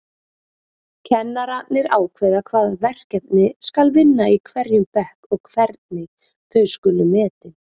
Kennararnir ákveða hvaða verkefni skal vinna í hverjum bekk og hvernig þau skuli metin.